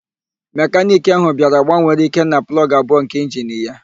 Mekaniki ahụ bịara gbanwere Ikenna plọgụ abụọ nke injini ya.